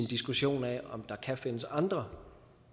diskussion af om der kan findes andre